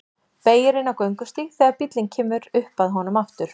Beygir inn á göngustíg þegar bíllinn kemur upp að honum aftur.